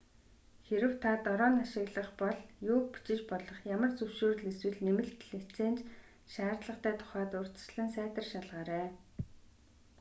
хэрэв та дрон ашиглах бол юуг бичиж болох ямар зөвшөөрөл эсвэл нэмэлт лиценз шаардлагатай тухайд урьдчилан сайтар шалгаарай